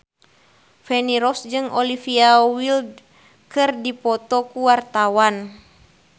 Feni Rose jeung Olivia Wilde keur dipoto ku wartawan